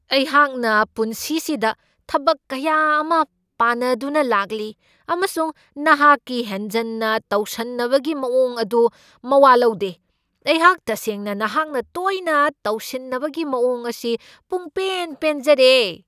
ꯑꯩꯍꯥꯛꯅ ꯄꯨꯟꯁꯤꯁꯤꯗ ꯊꯕꯛ ꯀꯌꯥ ꯑꯃ ꯄꯥꯟꯅꯗꯨꯅ ꯂꯥꯛꯂꯤ ꯑꯃꯁꯨꯡ ꯅꯍꯥꯛꯀꯤ ꯍꯦꯟꯖꯟꯅ ꯇꯧꯁꯟꯅꯕꯒꯤ ꯃꯑꯣꯡ ꯑꯗꯨ ꯃꯋꯥ ꯂꯧꯗꯦ꯫ ꯑꯩꯍꯥꯛ ꯇꯁꯦꯡꯅ ꯅꯍꯥꯛꯅ ꯇꯣꯏꯅ ꯇꯧꯁꯤꯟꯅꯕꯒꯤ ꯃꯑꯣꯡ ꯑꯁꯤ ꯄꯨꯡꯄꯦꯟ ꯄꯦꯟꯖꯔꯦ ꯫